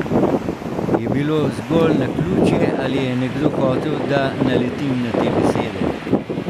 Je bilo zgolj naključje ali je nekdo hotel, da naletim na te besede?